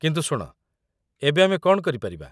କିନ୍ତୁ ଶୁଣ, ଏବେ ଆମେ କ'ଣ କରିପାରିବା?